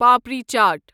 papri چاٹ